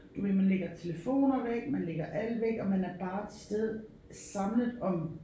Du ved man lægger telefoner væk man lægger alt væk og man er bare til stede samlet om